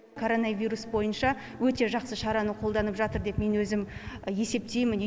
коронавирус бойынша өте жақсы шараны қолданып жатыр деп мен өзім есептеймін